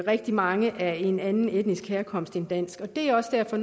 rigtig mange af en anden etnisk herkomst end dansk og det er også derfor